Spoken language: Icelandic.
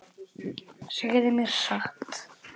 Segðu mér satt.